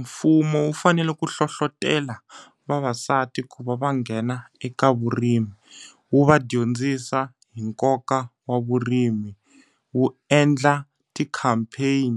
Mfumo wu fanele ku hlohletelo vavasati ku va va nghena eka vurimi. Wu va dyondzisa hi nkoka wa vurimi. Wu endla ti-campaign,